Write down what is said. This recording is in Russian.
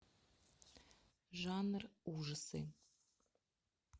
жанр ужасы